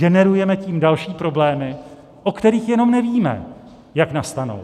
Generujeme tím další problémy, o kterých jenom nevíme, jak nastanou.